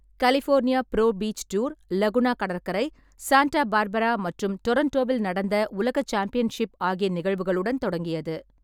California pro beach tour, Laguna கடற்கரை, Santa Barbara மற்றும் டொரோன்டோவில் நடந்த உலக சாம்பியன்ஷிப் ஆகிய நிகழ்வுகளுடன் தொடங்கியது.